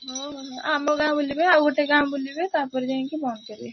ହୁଁ ଆମେ ଗାଁ ବୁଲିବେ ଆଉ ଗୋଟେ ଗାଁ ବୁଲିବେ ତାପରେ ଯାଇକି ବନ୍ଦ କରିବେ।